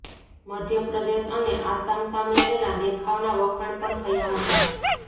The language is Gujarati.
મધ્યપ્રદેશ અને આસામ સામે તેના દેખાવના વખાણ પણ થયા હતા